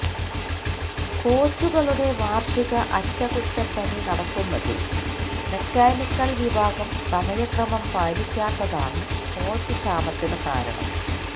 കോച്ചുകളുടെ വാർഷിക അറ്റകുറ്റപ്പണി നടത്തുന്നതിൽ മെക്കാനിക്കൽ വിഭാഗം സമയക്രമം പാലിക്കാത്തതാണു കോച്ച് ക്ഷാമത്തിന് കാരണം